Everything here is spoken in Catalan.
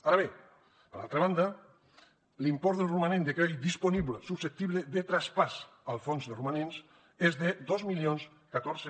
ara bé per altra banda l’import del romanent de crèdit disponible susceptible de traspàs al fons de romanents és de dos mil catorze